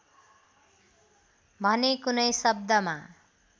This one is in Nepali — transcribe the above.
भने कुनै शब्दमा